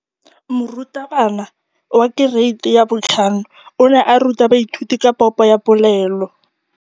Moratabana wa kereiti ya 5 o ne a ruta baithuti ka popô ya polelô.